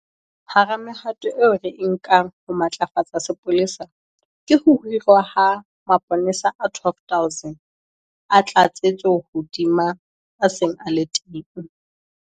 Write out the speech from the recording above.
Hara mehato eo re e nkang ho matlafatsa sepolesa ke ho hirwa ha mapolesa a 12 000 a tlatsetso hodima a seng a le teng.